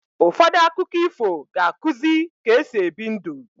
Ụfọdụ akụkọ ifo ga-akuzi ka-esi ebi ndu